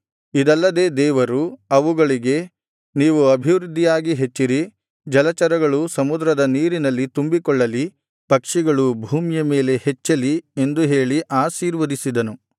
ಇದಲ್ಲದೆ ದೇವರು ಅವುಗಳಿಗೆ ನೀವು ಅಭಿವೃದ್ಧಿಯಾಗಿ ಹೆಚ್ಚಿರಿ ಜಲಚರಗಳು ಸಮುದ್ರದ ನೀರಿನಲ್ಲಿ ತುಂಬಿಕೊಳ್ಳಲಿ ಪಕ್ಷಿಗಳು ಭೂಮಿಯ ಮೇಲೆ ಹೆಚ್ಚಲಿ ಎಂದು ಹೇಳಿ ಆಶೀರ್ವದಿಸಿದನು